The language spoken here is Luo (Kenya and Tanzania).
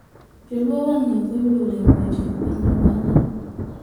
Joluo wang`ni okoyudo olemo e tend piny mamalo